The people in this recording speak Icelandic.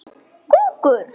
Styttan var á milli þeirra.